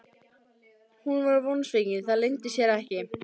Hún var vonsvikin, það leyndi sér ekki.